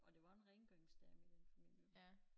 Og der var en rengøringsdame i den familie